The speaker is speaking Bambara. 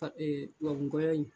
ka tubabunkɔya in.